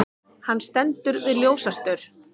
Hann stendur við ljósastaur.